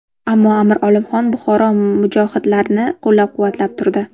Ammo Amir Olimxon Buxoro mujohidlarini qo‘llab-quvvatlab turdi.